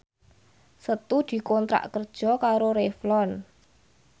Setu dikontrak kerja karo Revlon